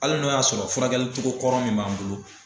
Hali n'o y'a sɔrɔ furakɛlicogo kɔrɔ min b'an bolo